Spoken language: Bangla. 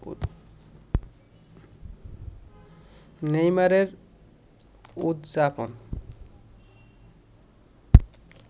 নেইমারের উদযাপন